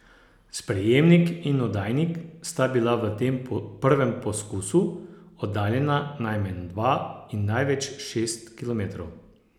Sprejemnik in oddajnik sta bila v tem prvem poskusu oddaljena najmanj dva in največ šest kilometrov.